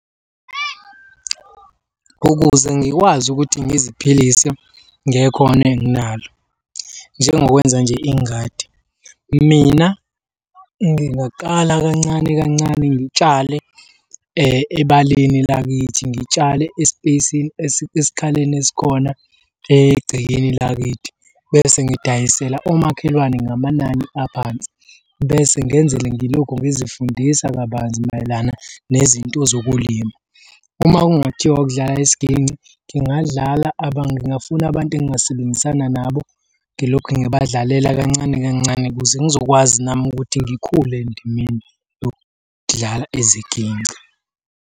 Ukuze ngikwazi ukuthi ngiziphilise ngekhono enginalo njengokwenza nje ingadi, mina ngingaqala kancane kancane ngitshale ebaleni lakithi ngitshale e-space, esikhaleni esikhona egcekeni lakithi, bese ngidayisela omakhelwane ngamanani aphansi, bese ngenzele ngilokhu ngizifundisa kabanzi mayelana nezinto zokulima. Uma kungathiwa kudlala isiginci, ngingadlala ngingafuna abantu engingasebenzisana nabo ngilokhu ngibadlalela kancane kancane, ukuze ngizokwazi nami ukuthi ngikhule endimeni yokudlala iziginci.